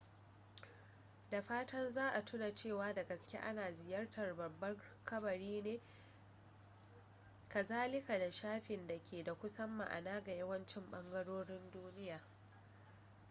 da fatan za a tuna cewa da gaske ana ziyartar babban kabari ne kazalika da shafin da ke da kusan ma'ana ga yawancin ɓangarorin duniya